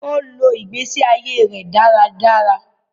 I lọ igbesi aiye rẹ dáràdárà